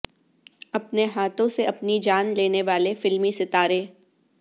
اپنے ہاتھوں سے اپنی جان لینے والے فلمی ستارے